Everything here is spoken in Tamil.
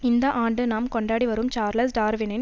இந்த ஆண்டு நாம் கொண்டாடி வரும் சார்லஸ் டார்வினின்